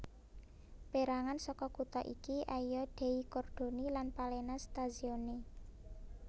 Pérangan saka kutha iki Aia dei Cordoni lan Palena stazione